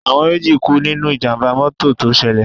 Àwọn méjì kú nínú Ìjàm̀bá mọ́tọ̀ tó ṣẹlẹ̀.